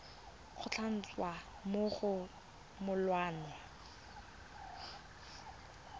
go tlhalosiwa mo go molawana